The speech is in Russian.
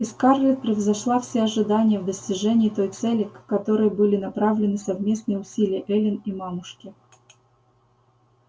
и скарлетт превзошла все ожидания в достижении той цели к которой были направлены совместные усилия эллин и мамушки